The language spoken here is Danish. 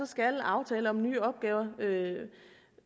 skal aftaler om nye opgaver